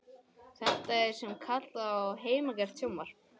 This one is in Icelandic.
Þetta er það sem kallað er heimagert sjónvarp.